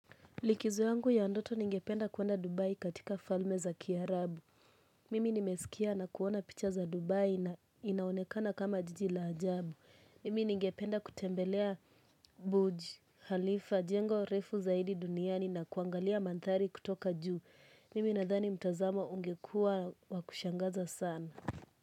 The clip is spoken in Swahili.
Likizo yangu ya ndoto ningependa kwenda Dubai katika falme za kiarabu. Mimi nimesikia na kuona picha za Dubai na inaonekana kama jiji la ajabu. Mimi ningependa kutembelea Buj Khalifa, jengo refu zaidi duniani na kuangalia manthari kutoka juu. Mimi nadhani mtazamo ungekua wa kushangaza sana.